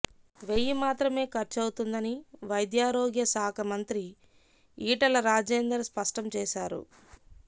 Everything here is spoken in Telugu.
వెయ్యి మాత్రమే ఖర్చవుతుందని వైద్యారోగ్య శాఖ మంత్రి ఈటల రాజేందర్ స్పష్టం చేశారు